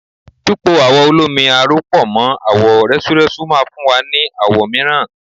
Pípo awọ olómi aró pọ̀ mọ́ àwọ̀ rẹ́súrẹ́sú máa fún wa ní àwọ̀ mìíràn.